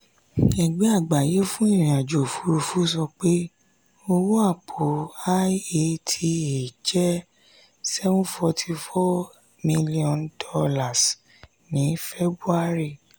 ẹgbẹ́ àgbáyé fún ìrìn-àjò òfurufú sọ pé owó àpò iata jẹ́ $ seven hundred forty four m ní february.